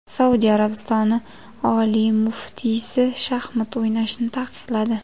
Saudiya Arabistoni oliy muftiysi shaxmat o‘ynashni taqiqladi.